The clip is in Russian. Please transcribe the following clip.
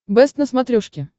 бэст на смотрешке